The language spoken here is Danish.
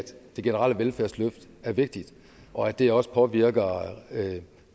det generelle velfærdsløft er vigtigt og at det også påvirker